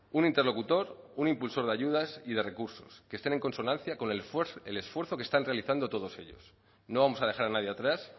un interlocutor un impulsor de ayudas y de recursos que estén en consonancia con el esfuerzo que están realizando todos ellos no vamos a dejar a nadie atrás